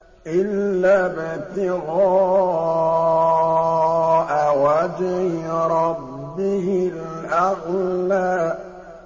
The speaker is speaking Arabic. إِلَّا ابْتِغَاءَ وَجْهِ رَبِّهِ الْأَعْلَىٰ